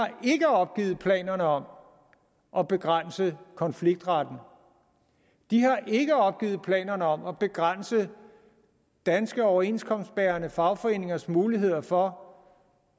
opgivet planerne om at begrænse konfliktretten de har ikke opgivet planerne om at begrænse danske overenskomstbærende fagforeningers muligheder for